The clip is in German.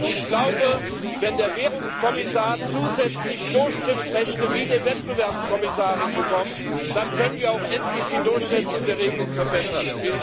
Ich glaube, wenn der Währungskommissar zusätzlich Durchgriffsrechte wie die Wettbewerbskommissarin bekommt, dann können wir auch endlich die Durchsetzung der Regeln verbessern.